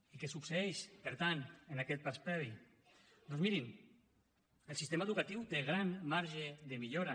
i què succeeix per tant en aquest pas previ doncs mirin el sistema educatiu té gran marge de millora